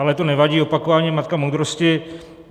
Ale to nevadí, opakování je matka moudrosti.